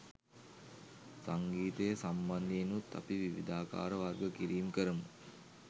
සංගීතය සම්බන්ධයෙනුත් අපි විවිධාකාර වර්ග කිරීම් කරමු